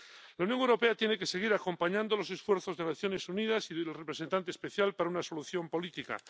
La Unión Europea tiene que seguir acompañando los esfuerzos de Naciones Unidas y del representante especial para una solución política.